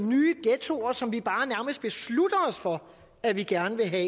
nye ghettoer som vi bare nærmest beslutter os for at vi gerne vil have